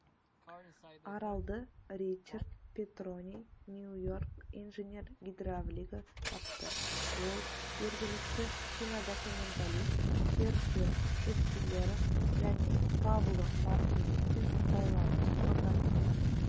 аралды ричард петрони нью-йорк инженер-гидравлигі тапты ол жергілікті кинодокументалист серджио неспилерм және пабло мартинеспен байланыс орнатып